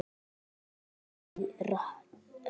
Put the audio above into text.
Hugsaðu þér- í roki!